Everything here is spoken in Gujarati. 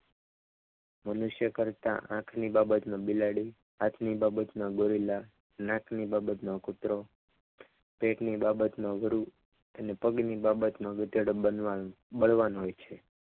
મનુષ્ય કરતાં આની બાબતમાં બિલાડી હાથની બાબતમાં ગોરેલા નાકની બાબતમાં કૂતરો પેટની બાબતમાં વરુ અને પગની બાબતમાં ગધેડો બનવાનું બનવા બળવાન હોય છે.